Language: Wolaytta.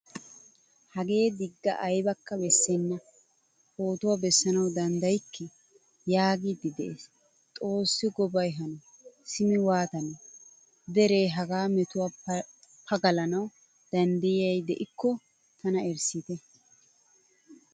Hagee digga aybakka beesena. Pootuwaa bessanawu danddayikke yaagidi de"ees. Xoossi gobay hano simi waatanee. Dere haga metuwaa pagalanawu dandayiya de'ikko tana erissite.